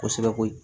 Kosɛbɛ koyi